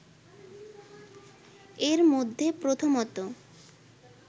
এর মধ্যে প্রথমত